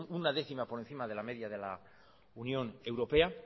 una décima por encima de la media de la unión europea